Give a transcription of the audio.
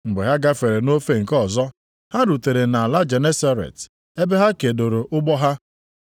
Mgbe ha gafere nʼofe nke ọzọ, ha rutere nʼala Genesaret ebe ha kedoro ụgbọ ha.